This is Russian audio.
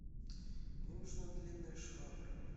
мне нужна длинная швабра